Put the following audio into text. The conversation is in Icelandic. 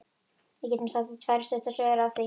Við getum sagt tvær stuttar sögur af því.